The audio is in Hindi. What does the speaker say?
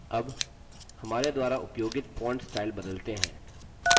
अब हमारे द्वारा उपयोगित font स्टाइल बदलते हैं